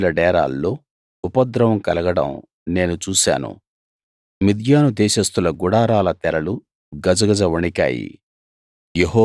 కూషీయుల డేరాల్లో ఉపద్రవం కలగడం నేను చూశాను మిద్యాను దేశస్థుల గుడారాల తెరలు గజగజ వణికాయి